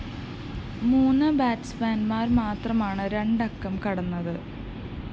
മൂന്ന് ബാറ്റ്‌സ്മാന്‍മാര്‍ മാത്രമാണ് രണ്ടക്കം കടന്നത്